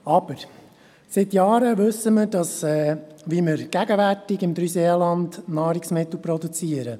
Aber: Seit Jahren wissen wir, wie wir gegenwärtig im Dreiseenland Nahrungsmittel produzieren.